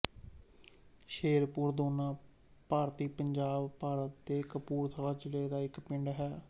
ਸ਼ੇਰਪੁਰ ਦੋਨਾ ਭਾਰਤੀ ਪੰਜਾਬ ਭਾਰਤ ਦੇ ਕਪੂਰਥਲਾ ਜ਼ਿਲ੍ਹਾ ਦਾ ਇੱਕ ਪਿੰਡ ਹੈ